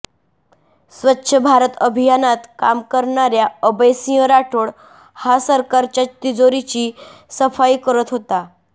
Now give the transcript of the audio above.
स्वच्छ भारत अभियानात काम करणाऱ्या अभय सिंह राठोड हा सरकारच्या तिजोरीची सफाई करत होता